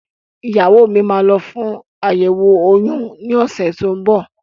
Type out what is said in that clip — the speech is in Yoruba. Ìyàwó mi yóò lọ fún àyẹ̀wò oyún ní ọ̀sẹ̀ tó ń bọ̀